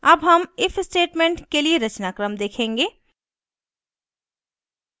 अब हम if statement के लिए रचनाक्रम देखेंगे